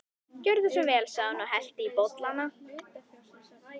Gjörðu svo vel sagði hún og hellti í bollana.